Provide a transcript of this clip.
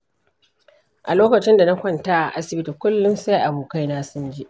A lokacin da na kwanta a asibiti, kullum sai abokaina sun je.